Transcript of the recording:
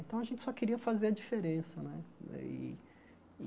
Então, a gente só queria fazer a diferença né daí.